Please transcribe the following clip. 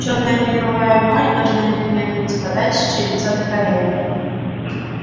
чёрная креповая вуаль должна непременно ниспадать с черепца до колен